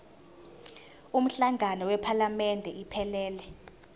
umhlangano wephalamende iphelele